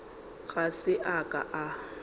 ga se a ka a